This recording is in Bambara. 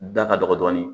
Da ka dɔgɔ dɔɔnin